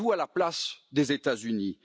Mettez vous à la place des États Unis.